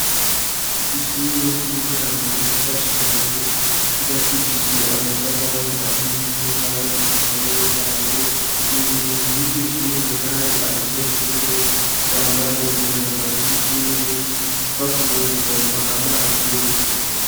Ishure ry'intango ryiza cane bakishije amatafali aturiye kandi akomeye cane imbere y'iryo shure hari abanyeshure bambaye imyambaro y'ishure bavuye kuvoma amazi yo gukoropa.